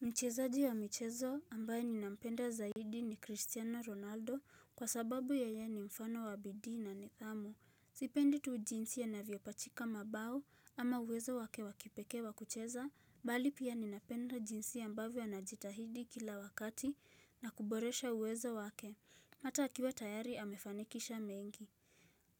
Mchezaji wa michezo ambaye ninampenda zaidi ni Christiano Ronaldo kwa sababu yeye ni mfano wa bidii na nidhamu. Sipendi tu jinsi anavyopachika mabao ama uwezo wake wa kipekee wa kucheza, bali pia ninapenda jinsi ambavyo anajitahidi kila wakati na kuboresha uwezo wake. Hata akiwa tayari amefanikisha mengi.